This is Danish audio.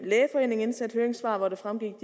lægeforeningen indsendte høringssvar hvori det fremgik